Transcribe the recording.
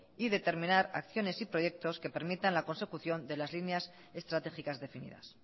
y determinar acciones y proyectos que permitan la consecución de las líneas estratégicas definidas